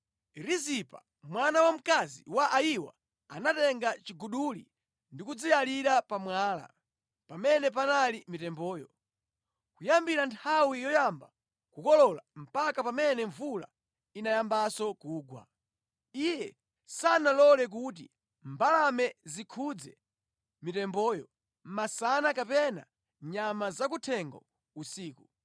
Rizipa mwana wamkazi wa Ayiwa anatenga chiguduli ndi kudziyalira pa mwala (pamene panali mitemboyo). Kuyambira nthawi yoyamba kukolola mpaka pamene mvula inayambanso kugwa, iye sanalole kuti mbalame zikhudze mitemboyo masana kapena nyama zakuthengo usiku.